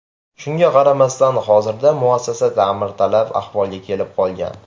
Shunga qaramasdan, hozirda muassasa ta’mirtalab ahvolga kelib qolgan .